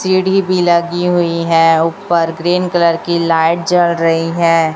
सीढ़ी भी लगी हुई है ऊपर ग्रीन कलर की लाइट जल रही है।